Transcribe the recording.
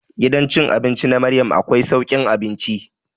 Gidan cin abinci na Maryam akwai saukin abinci.